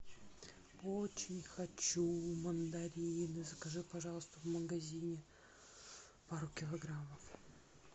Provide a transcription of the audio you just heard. очень хочу мандарины закажи пожалуйста в магазине пару килограммов